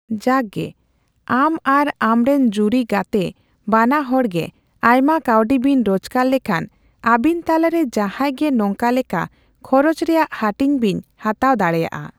ᱡᱟᱠ ᱜᱮ, ᱟᱢ ᱟᱨ ᱟᱢᱨᱮᱱ ᱡᱩᱨᱤ ᱜᱟᱛᱮ ᱵᱟᱱᱟ ᱦᱚᱲᱜᱮ ᱟᱭᱢᱟ ᱠᱟᱣᱰᱤ ᱵᱤᱱ ᱨᱳᱡᱽᱜᱟᱨ ᱞᱮᱠᱷᱟᱱ, ᱟᱵᱤᱱ ᱛᱟᱞᱟᱨᱮ ᱡᱟᱦᱟᱸᱭ ᱜᱮ ᱱᱚᱝᱠᱟ ᱞᱮᱠᱟ ᱠᱷᱚᱨᱚᱪ ᱨᱮᱭᱟᱜ ᱦᱟᱹᱴᱤᱧ ᱵᱤᱱ ᱦᱟᱛᱟᱣ ᱫᱟᱲᱮᱭᱟᱜᱼᱟ ᱾